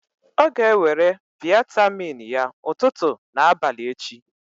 Ọ ga-ewere vịatamin ya ụtụtụ na abalị echi.